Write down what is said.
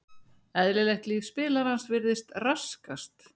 Eðlilegt líf spilarans virðist raskast.